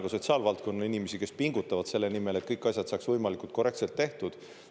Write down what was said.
Ma tänan sotsiaalvaldkonna inimesi, kes pingutavad selle nimel, et kõik asjad saaks võimalikult korrektselt tehtud.